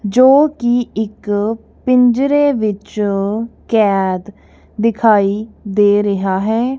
ਜੋ ਕਿ ਇੱਕ ਪਿੰਜਰੇ ਵਿੱਚ ਕੈਦ ਦਿਖਾਈ ਦੇ ਰਿਹਾ ਹੈ।